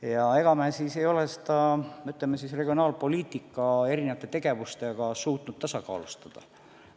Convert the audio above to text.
Ja me siis ei ole seda regionaalpoliitika erinevate tegevustega suutnud tasakaalustada.